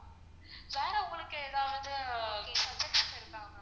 வேற உங்களுக்கு ஏதாவது suggestion இருக்கா?